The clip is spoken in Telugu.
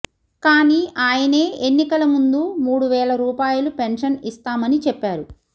కానీ ఆయనే ఎన్నికల ముందు మూడు వేల రూపాయిలు పెన్షన్ ఇస్తామని చెప్పారు